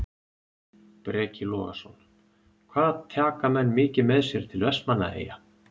Breki Logason: Hvað taka menn mikið með sér til Vestmannaeyja?